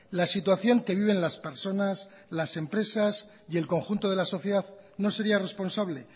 la situación que viven las personas las empresas y el conjunto de la sociedad no sería responsable